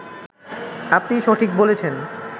আপনি সঠিক বলেছেন